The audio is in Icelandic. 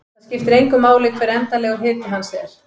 Það skiptir engu máli hver endanlegur hiti hans er.